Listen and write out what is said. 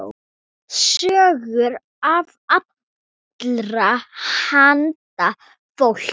Sögur af allra handa fólki.